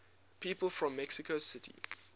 people from mexico city